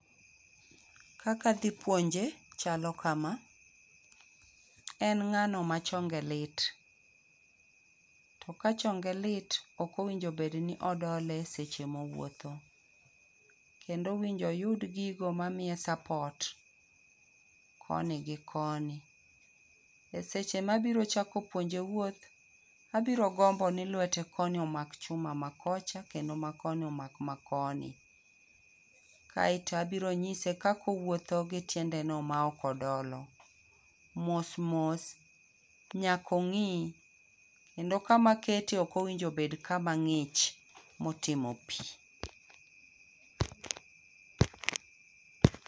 Kaka adhi puonje chalo kama, en ng'ano ma chonge lit. To ka chonge lit, ok owinjo bed ni odole seche mowuotho. Kendo owinjo oyud gigo mamiye support koni gi koni. E seche mabiro chako puonje wuoth, abiro gombo ni lwete koni omak chuma makocha kendo makoni omak ma koni. Kaeto abiro nyise kaka owuotho gi tiende no ma ok odolo. Mosmos nyaka ong'ii kendo kama akete ok owinjo obed kama ng'ich motimo pii.